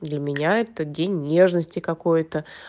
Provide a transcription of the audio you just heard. для меня этот день нежности какой то